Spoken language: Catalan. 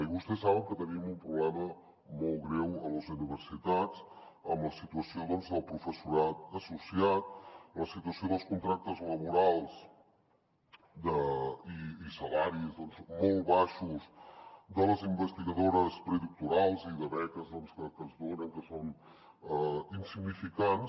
i vostès saben que tenim un problema molt greu a les universitats amb la situació del professorat associat la situació dels contractes laborals i salaris molt baixos de les investigadores predoctorals i de beques que es donen que són insignificants